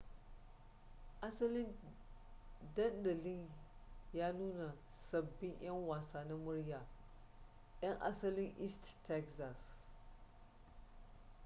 asalin dandalin ya nuna sabbin yan wasa na murya yan asalin east texas